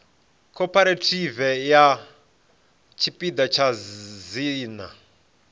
cooperative sa tshipiḓa tsha dzina